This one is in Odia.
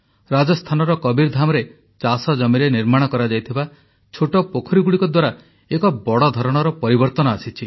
ରାଜସ୍ଥାନର କବୀରଧାମ୍ରେ ଚାଷଜମିରେ ନିର୍ମାଣ କରାଯାଇଥିବା ଛୋଟ ପୋଖରୀଗୁଡ଼ିକ ଦ୍ୱାରା ଏକ ବଡ଼ ଧରଣର ପରିବର୍ତନ ଆସିଛି